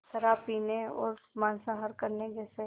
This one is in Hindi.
शराब पीने और मांसाहार करने जैसे